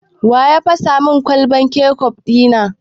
Wa ya fasa min kwalban kecof ɗi na?